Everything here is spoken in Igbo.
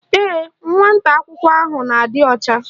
Ee, nwata akwụkwọ ahụ na-adị ọcha